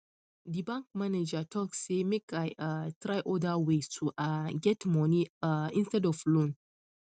the bank manager talk say make i um try other ways to um get money um instead of loan